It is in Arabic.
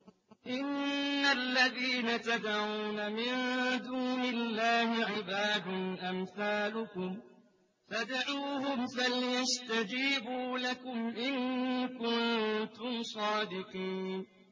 إِنَّ الَّذِينَ تَدْعُونَ مِن دُونِ اللَّهِ عِبَادٌ أَمْثَالُكُمْ ۖ فَادْعُوهُمْ فَلْيَسْتَجِيبُوا لَكُمْ إِن كُنتُمْ صَادِقِينَ